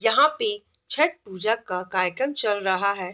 यहां पे छठ पूजा का कार्यक्रम चल रहा है।